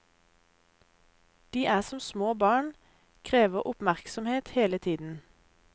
De er som små barn, krever oppmerksomhet hele tiden.